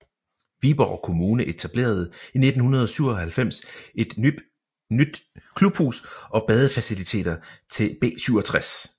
Viborg Kommune etablerede i 1997 et nyt klubhus og badefaciliteter til B67